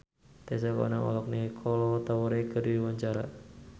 Tessa Kaunang olohok ningali Kolo Taure keur diwawancara